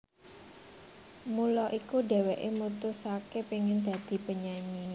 Mula iku dheweke mutusake pengen dadi penyanyi